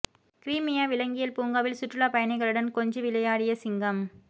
கிரீமியா விலங்கியல் பூங்காவில் சுற்றுலா பயணிகளுடன் கொஞ்சி விளையாடிய சிங்கம்